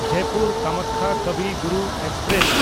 Jaipur Kamakhya Kavi Guru express